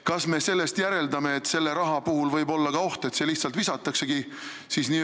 Kas sellest ei järeldu võimalik oht, et see raha lihtsalt visatakse tuulde?